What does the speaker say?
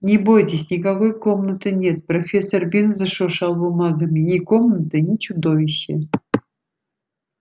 не бойтесь никакой комнаты нет профессор бинс зашуршал бумагами ни комнаты ни чудовища